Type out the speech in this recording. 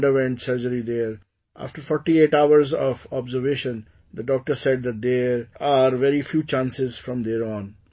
She underwent surgery there, after 48 hours of observation, the doctor said that there are very few chances from there on